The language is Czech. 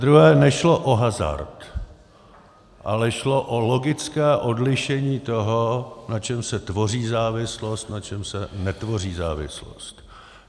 Zadruhé nešlo o hazard, ale šlo o logické odlišení toho, na čem se tvoří závislost, na čem se netvoří závislost.